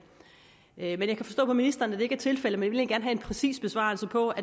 jeg kan forstå på ministeren at det ikke er tilfældet men jeg vil en præcis besvarelse på